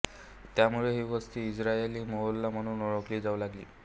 त्यामुळे ही वस्ती इस्रायली मोहल्ला म्हणून ओळखली जाऊ लागली